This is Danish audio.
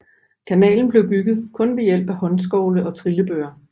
Kanalen blev bygget kun ved hjælp af håndskovle og trillebøre